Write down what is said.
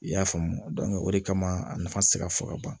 I y'a faamu o de kama a nafa ti se ka fɔ ka ban